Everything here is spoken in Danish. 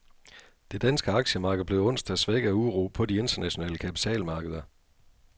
Det danske aktiemarked blev onsdag svækket af uro på de internationale kapitalmarkeder.